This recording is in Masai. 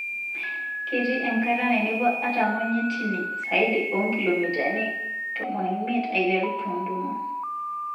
'Keti enkata nainepua ata monyit tine ,Saidi oo nkilomitani 15 aiteru Tunduma.